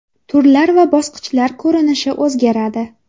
Turlar va bosqichlar ko‘rinishi o‘zgaradi.